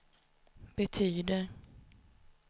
betyder